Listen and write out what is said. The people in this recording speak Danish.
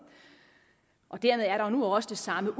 dermed er der nu også det samme